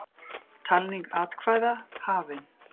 Talning atkvæða hafin